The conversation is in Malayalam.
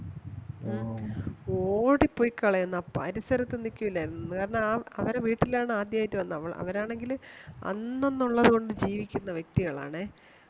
ഓ, ഓടിപോയികളയുന്നു ആ പരിസരത്തു നിക്കൂല എന്ന് കാരണം ആ അവരുടെ വീട്ടിൽ ആണ് ആദ്യായിട് വന്നത് അവരാണെങ്കില് അന്നെന്നുള്ളത് കൊണ്ട് ജീവിക്കുന്ന വ്യക്തികളാണെ